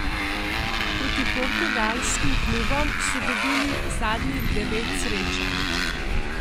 Proti portugalskim klubom so dobili zadnjih devet srečanj.